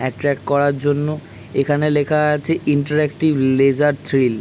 Attract করার জন্য এখানে লেখা আছে ইন্টারেক্টিভ লেসার থ্রিল ।